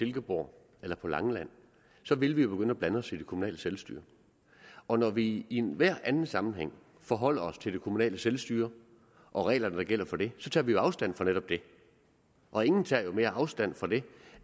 silkeborg eller på langeland ville vi jo begynde at blande os i det kommunale selvstyre og når vi i enhver anden sammenhæng forholder os til det kommunale selvstyre og reglerne der gælder for det så tager vi afstand fra netop det og ingen tager mere afstand fra det